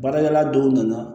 Baarakɛla dɔw nana